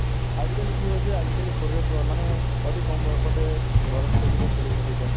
আজিকালি কি হৈছে আজিকালি সৰুৰে পৰা মানে অতি কম বয়সতে ল'ৰা-ছোৱালি কেইটাৰ চুলি পকি যায়